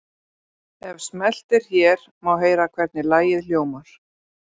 Ef smellt er hér má heyra hvernig lagið hljómar.